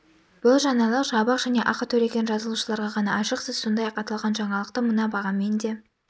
бұл жаңалық жабық және ақы төлеген жазылушыларға ғана ашық сіз сондай-ақ аталған жаңалықты мына бағамен де